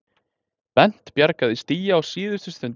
Bent bjargaði stigi á síðustu stundu